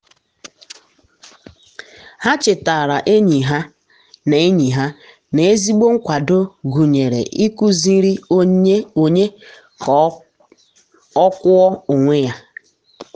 ha chetara enyi ha na enyi ha na ezigbo nkwado gụnyere ịkụziri onye ka o kwụọ onwe ya.